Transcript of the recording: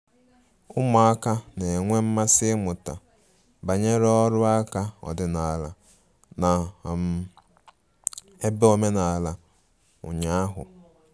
Ụmụaka na-enwe mmasị ịmụta banyere ọrụ aka ọdịnala na um ebe omenala ụnya ahụ